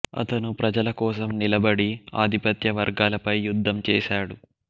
అతను ప్రజల కోసం నిలబడి ఆధిపత్య వర్గాలపై యుద్ధం చేశాడు